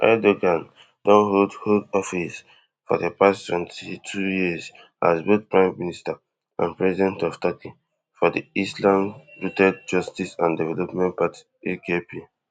erdogan don hold hold office for di past twenty-two years as both prime minister and president of turkey for di islamistrooted justice and development party akp